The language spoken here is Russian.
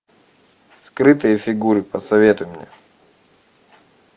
скрытые фигуры посоветуй мне